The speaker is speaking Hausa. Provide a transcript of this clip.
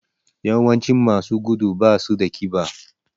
Yawancin masu gudu basu da ƙiba